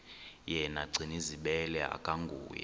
yena gcinizibele akanguye